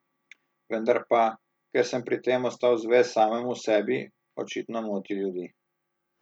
Vendar pa, ker sem pri tem ostal zvest samemu sebi, očitno moti ljudi.